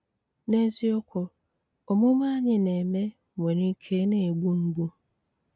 N'ézíokwú, ómùmé ányị́ ná-émé nwéré íké ná-égbú mgbú.